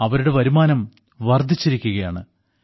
അവരുടെ വരുമാനം വർദ്ധിച്ചിരിക്കുകയാണ്